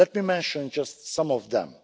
Let me mention just some them.